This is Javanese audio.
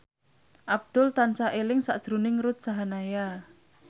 Abdul tansah eling sakjroning Ruth Sahanaya